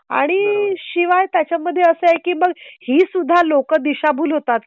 आणि शिवाय त्याच्या मध्ये असं आहे. की मग ही सुद्धा लोक दिशाभूल होतात